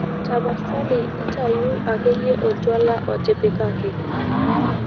tapasali ntauu akeyie oltwala otipikaki